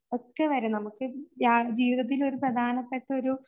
ഒക്കെ വരണം. നമുക്ക് യാ, ജീവിതത്തിൽ ഒരു പ്രധാനപ്പെട്ടൊരു